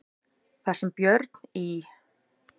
Þar sem Björn í